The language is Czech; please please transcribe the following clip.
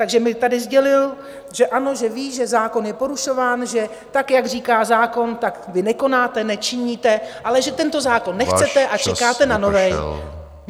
Takže mi tady sdělil, že ano, že ví, že zákon je porušován, že tak jak říká zákon, tak vy nekonáte, nečiníte, ale že tento zákon nechcete... ... a čekáte na nový.